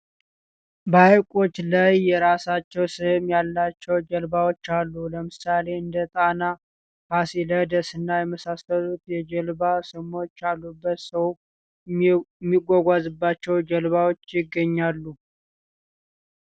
በሃይቆች ላይ የራሳቸው ስም ያላቸው ጀልባዎች አሉ። ለምሳሌ እንደ ጣና፣ ፋሲለደስ እና የመሳሰሉት የጀልባ ስሞች ያሉበት ሰው ሚጓጓዝባቸው ጀልባዎች ይገኛሉ።